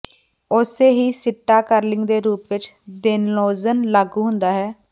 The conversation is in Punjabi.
ਉਸੇ ਹੀ ਸਿੱਟਾ ਕਰਲਿੰਗ ਦੇ ਰੂਪ ਵਿਚ ਦੇਨੌਜ਼ਲ ਲਾਗੂ ਹੁੰਦਾ ਹੈ